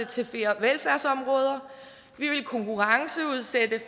til flere velfærdsområder vi vil konkurrenceudsætte